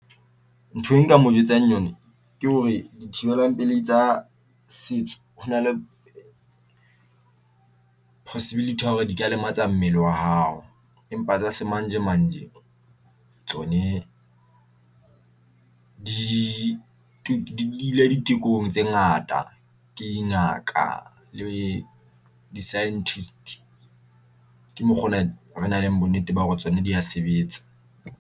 Ntho e nka mo jwetsang yona ke hore di thibelang pelehi tsa setso hona le possibility ya hore di ka lematsa mmele wa hao, empa tsa semanjemanje tsone di ile ditekong tse ngata ke dingaka le di-scientist. Ke mokgona re na le bonnete ba hore tsona di a sebetsa.